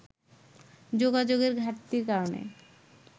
যোগাযোগের ঘাটতির কারণে